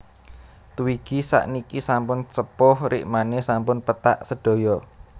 Twiggy sakniki sampun sepuh rikmane sampun pethak sedaya